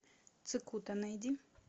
цикута найди